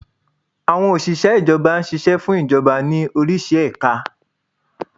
Àwọn Òsìsẹ́ Ìjọba ṣiṣẹ́ fún Ìjọba ní orísi ẹ̀ka